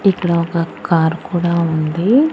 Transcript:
ఇక్కడ ఒక కార్ కూడా ఉంది.